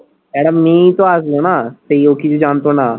একটা মেয়েই তো আসলো নাহ, সেই ও কিছু জানতো না।